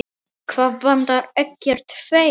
Það vantar ekkert þeirra.